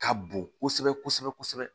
Ka bon kosɛbɛ kosɛbɛ